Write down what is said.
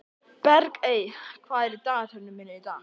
Bergey, hvað er í dagatalinu mínu í dag?